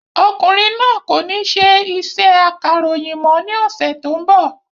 Ọkùnrin náà kò ní ṣe iṣẹ́ akàròyìn mọ́ ní ọ̀sẹ̀ tó ń bọ̀